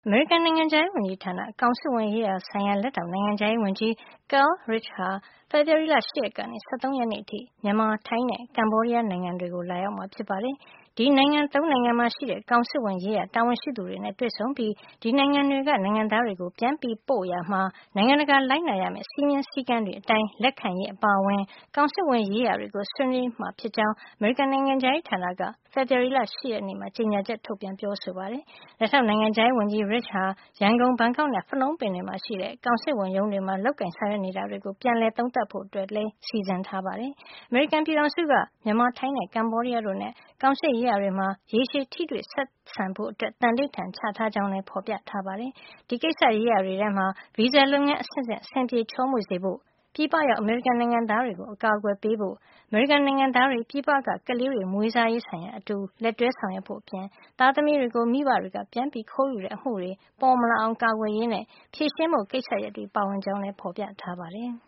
အမေရိကန် နိုင်ငံခြားရေးဝန်ကြီးဌာန ကောင်စစ်ဝန်ရေးရာဆိုင်ရာ လက်ထောက်နိုင်ငံခြားရေးဝန်ကြီး Carl Risch ဟာ ဖေဖေါ်ဝါရီလ ၈ ရက်ကနေ ၁၃ ရက်နေ့အထိ မြန်မာ၊ ထိုင်းနဲ့ ကမ္ဘောဒီးယား နိုင်ငံတွေကို သွားရောက်မှာ ဖြစ်ပါတယ်။ ဒီနိုင်ငံ ၃ နိုင်ငံမှာ ရှိတဲ့ ကောင်စစ်ဝန်ရေးရာ တာဝန်ရှိသူတွေနဲ့ တွေ့ဆုံပြီး ဒီနိုင်ငံတွေက နိုင်ငံသားတွေကို ပြန်ပို့ရာမှာ နိုင်ငံတကာ လိုက်နာရမယ့် စည်းမျဉ်းစည်းကမ်းတွေ အတိုင်း လက်ခံရေး အပါအဝင် ကောင်စစ်ဝန်ရေးရာတွေကို ဆွေးနွေးမှာ ဖြစ်ကြောင်း အမေရိကန် နိုင်ငံခြားရေးဌာနက ဖေဖေါ်ဝါရီလ ၈ ရက်နေ့မှာ ကြေညာချက် ထုတ်ပြန်ပြောဆိုပါတယ်။ လက်ထောက်နိုင်ငံခြားရေးဝန်ကြီး Risch ဟာ ရန်ကုန်၊ ဘန်ကောက်နဲ့ ဖနုံပင်တွေမှာ ရှိတဲ့ ကောင်စစ်ဝန်ရုံးတွေမှာ လုပ်ကိုင်ဆောင်ရွက် နေတာတွေကို ပြန်လည် သုံးသပ်ဖို့လည်း စီစဉ်ထားတာပါ။ အမေရိကန်ပြည်ထောင်စုက မြန်မာ၊ ထိုင်းနဲ့ ကမ္ဘောဒီးယားတို့နဲ့ ကောင်စစ်ရေးရာတွေမှာ ရေရှည်ထိတွေ့ဆက်ဆံဖို့ သန္နိဋ္ဌာန် ချထားကြောင်း လည်း ဖေါ်ပြထားပါတယ်။ ဒီကိစ္စရေးရာတွေထဲမှာ ဗီဇာလုပ်ငန်းအဆင့်ဆင့် အဆင်ပြေချောမွေ့စေဖို့၊ ပြည်ပရောက် အမေရိကန်နိုင်ငံသား တွေကို အကာကွယ်ပေးဖို့၊ အမေရိကန်နိုင်ငံသားတွေ ပြည်ပက ကလေးတွေ မွေးစားရေးဆိုင်ရာ အတူလက်တွဲဆောင်ရွက်ဖို့အပြင် သားသမီးတွေကို မိဘတွေက ပြန်ပြီးခိုးယူတဲ့အမှုတွေ ပေါ်မလာအောင်ကာကွယ်ရေးနဲ့ ဖြေရှင်းဖို့ကိစ္စရပ်တွေ ပါဝင်ကြောင်းလည်း ဖေါ်ပြထား ပါတယ်။